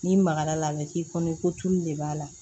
N'i magara a la a bɛ k'i kɔnɔ ko tulu de b'a la